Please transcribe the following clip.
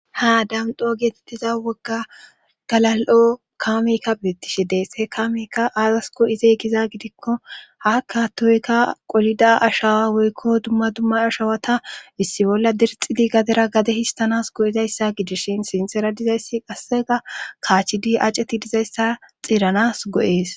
Ha damdo geetettiza wogga galal7o kaamikka beettishe dees he kamekka aazasko izey kiza gidikko hakka toykka qolida ashawa woykko dumma duma ashawata issi bolla dirxidi gadera gade histanas go7izayssa gidishin sinsera dizayssi qassega kaachidi aceti dizayssa xiiranas go7ees.